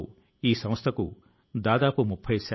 సంస్థ లు కావచ్చు లేదా ప్రభుత్వం కావచ్చు